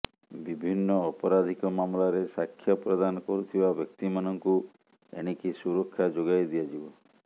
ବିଭିନ୍ନ ଅପରାଧିକ ମାମଲାରେ ସାକ୍ଷ୍ୟ ପ୍ରଦାନ କରୁଥିବା ବ୍ୟକ୍ତିମାନଙ୍କୁ ଏଣିକି ସୁରକ୍ଷା ଯୋଗାଇଦିଆଯିବ